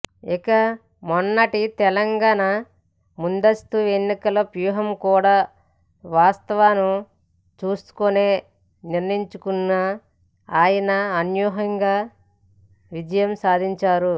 ఇక మొన్నటి తెలంగాణ ముందస్తు ఎన్నికల వ్యూహం కూడా వాస్తును చూసుకునే నిర్ణయించుకున్న ఆయన అనూహ్యంగా విజయం సాధించారు